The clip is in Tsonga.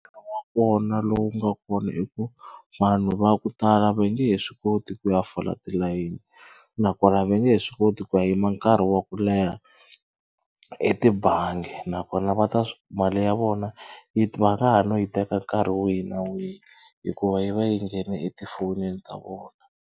Wona lowu nga kona i ku vanhu va ku tala va nge he swi koti ku ya fola tilayini nakona va nge he swi koti ku ya yima nkarhi wa ku leha etibangi nakona va ta swi mali ya vona yi va nga ha no yi teka nkarhi wihi na wihi hikuva yi va yi nghene etifonini ta vona.